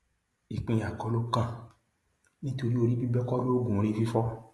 ìpínyà kọ ló kàn nítorí orí bíbẹ kọ loògùn orí fífọ